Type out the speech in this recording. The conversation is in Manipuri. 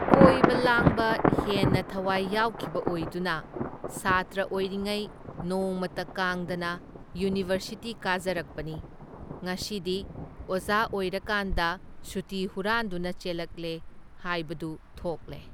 ꯀꯣꯏꯕ ꯂꯥꯡꯕ ꯍꯦꯟꯅ ꯊꯋꯥꯏ ꯌꯥꯎꯈꯤꯕ ꯑꯣꯏꯗꯨꯅ ꯁꯥꯇ꯭ꯔꯥ ꯑꯣꯏꯔꯤꯉꯩ ꯅꯣꯡꯃꯇ ꯀꯥꯡꯗꯅ ꯌꯨꯅꯤꯚꯔꯁꯤꯇꯤ ꯀꯥꯖꯔꯛꯄꯅꯤ, ꯉꯁꯤꯗꯤ ꯑꯣꯖꯥ ꯑꯣꯏꯔꯀꯥꯟꯗ ꯁꯨꯇꯤ ꯍꯨꯔꯥꯟꯗꯨꯅ ꯆꯦꯜꯂꯛꯂꯦ ꯍꯥꯏꯕꯗꯨ ꯊꯣꯛꯂꯦ꯫